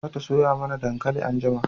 za ta soya mana dankali anjima